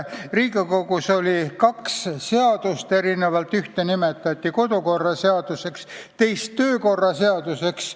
Riigikogus oli kaks seadust: ühte nimetati kodukorraseaduseks ja teist töökorraseaduseks.